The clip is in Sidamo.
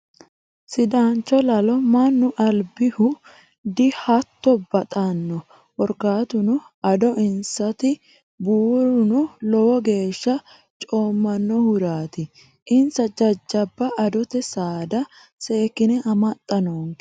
Sidaancho lalo mannu albihu dihatto baxano korkaatuno ado insati buuruno lowo geeshsha coomanohurati insa jajjabba adote saada seekkine amaxa noonke.